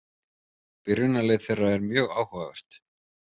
Byrjunarlið þeirra er mjög áhugavert.